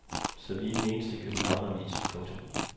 Så vi er den eneste københavneravis. punktum